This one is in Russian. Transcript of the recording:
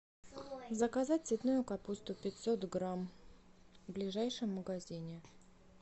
заказать цветную капусту пятьсот грамм в ближайшем магазине